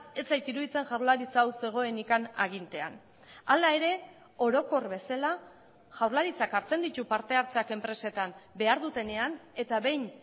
ez zait iruditzen jaurlaritza hau zegoenik agintean hala ere orokor bezala jaurlaritzak hartzen ditu partehartzeak enpresetan behar dutenean eta behin